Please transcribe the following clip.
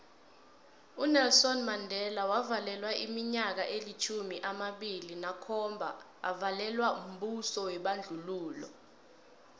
unelson mandela wavalelwa iminyaka elitjhumi amabili nakhomba avalelwa mbuso webandlululo